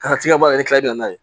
Ka t'i ka baara kɛ ne tila n'a ye